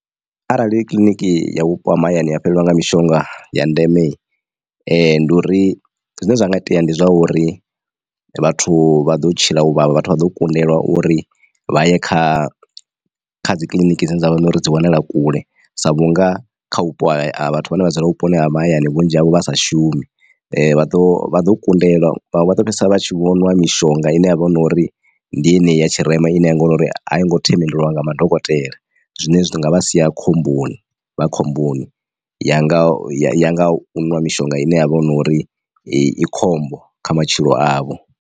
Arali kiḽiniki ya vhupo ha mahayani ya fhelelwa nga mishonga ya ndeme ndi uri zwine zwa nga itea ndi zwauri vhathu vha ḓo tshila u vhavha vhathu vha ḓo kundelwa uri vha ye kha kha dzi kiḽiniki dzine dzavha uri dzi wanala kule sa vhunga kha vhupo ha vhathu vhane vha dzula vhuponi ha mahayani vhunzhi havho vha sa shumi vha ḓo vha ḓo kundelwa vhaṅwe vha fhedzisela vha tshi vhonwa mishonga ine yavha uri ndi yeneyi ya tshirema ine ya nga uri a yo ngo themendeliwa nga madokotela. Zwine zwi nga vha sia khomboni vha khomboni yanga ya nga u ṅwa mishonga ine ya vha hu no uri i khombo kha matshilo avho.